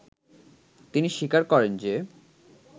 তিনি স্বীকার করেন যে